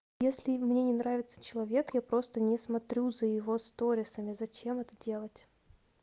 если мне не нравится человек я просто не смотрю за его сторисами зачем это делать